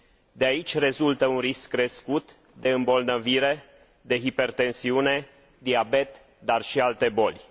De aici rezultă un risc crescut de îmbolnăvire de hipertensiune, diabet, dar și alte boli.